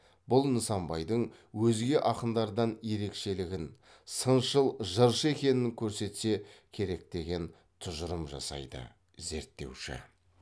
бұл нысанбайдың өзге акындардан ерекшелігін сыншыл жыршы екенін көрсетсе керек деген тұжырым жасайды зерттеуші